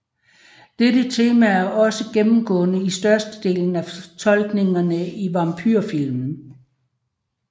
Dette tema er også gennemgående i størstedelen af fortolkningerne i vampyrfilm